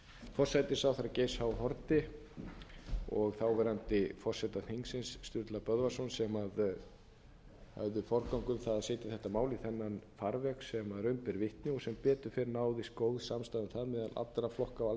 forsætisráðherra geirs h haarde og þáverandi forseta þingsins sturla böðvarssonar sem höfðu forgöngu um það að setja þetta mál í þennan farveg sem raun ber vitni og sem betur fer náðist góð samstaða um það meðal allra flokka á alþingi og